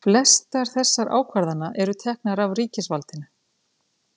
flestar þessara ákvarðana eru teknar af ríkisvaldinu